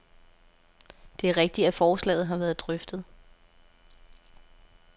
Det er rigtigt, at forslaget har været drøftet.